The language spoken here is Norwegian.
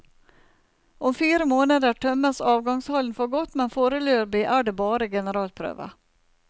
Om fire måneder tømmes avgangshallen for godt, men foreløpig er det bare generalprøve.